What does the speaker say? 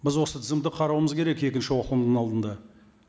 біз осы тізімді қарауымыз керек екінші оқылымның алдында